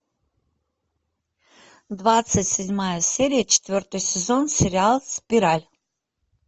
двадцать седьмая серия четвертый сезон сериал спираль